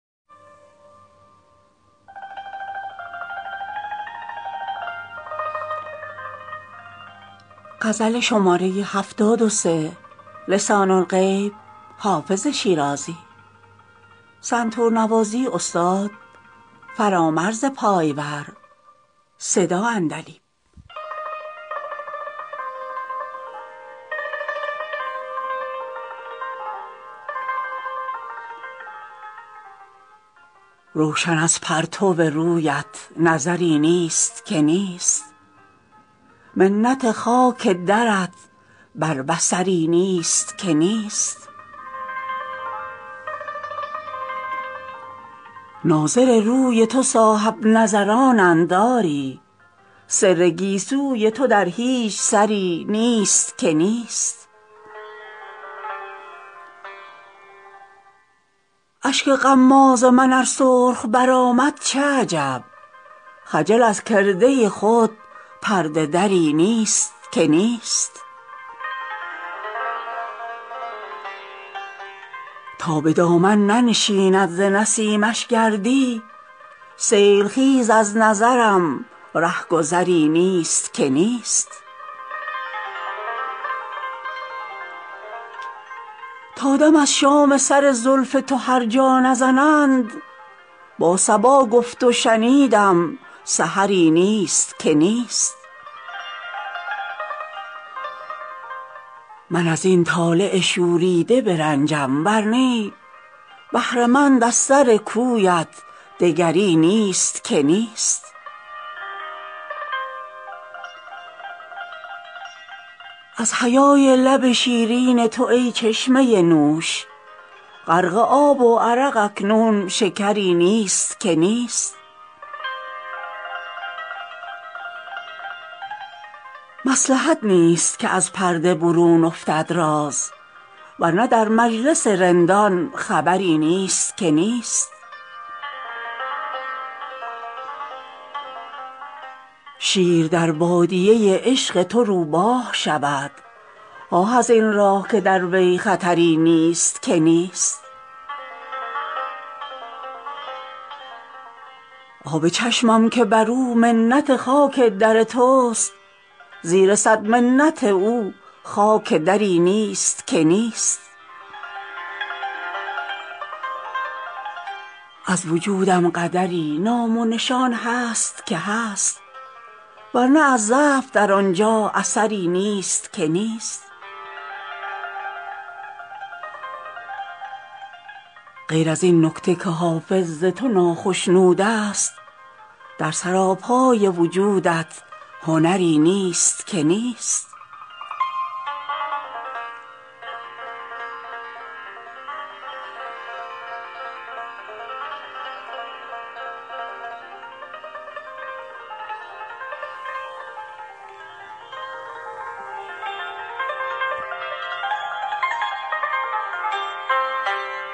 روشن از پرتو رویت نظری نیست که نیست منت خاک درت بر بصری نیست که نیست ناظر روی تو صاحب نظرانند آری سر گیسوی تو در هیچ سری نیست که نیست اشک غماز من ار سرخ برآمد چه عجب خجل از کرده خود پرده دری نیست که نیست تا به دامن ننشیند ز نسیمش گردی سیل خیز از نظرم ره گذری نیست که نیست تا دم از شام سر زلف تو هر جا نزنند با صبا گفت و شنیدم سحری نیست که نیست من از این طالع شوریده برنجم ور نی بهره مند از سر کویت دگری نیست که نیست از حیای لب شیرین تو ای چشمه نوش غرق آب و عرق اکنون شکری نیست که نیست مصلحت نیست که از پرده برون افتد راز ور نه در مجلس رندان خبری نیست که نیست شیر در بادیه عشق تو روباه شود آه از این راه که در وی خطری نیست که نیست آب چشمم که بر او منت خاک در توست زیر صد منت او خاک دری نیست که نیست از وجودم قدری نام و نشان هست که هست ور نه از ضعف در آن جا اثری نیست که نیست غیر از این نکته که حافظ ز تو ناخشنود است در سراپای وجودت هنری نیست که نیست